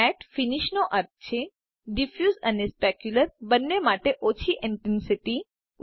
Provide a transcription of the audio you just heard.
mat finish નો અર્થ છે ડીફયુસ અને સ્પેક્યુલ્રર બને માટે ઓછી ઇન્ટેન્સીટી